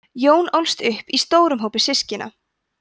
jón ólst upp í stórum hópi systkina